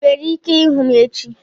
Ị nwere ike ịhụ m echi?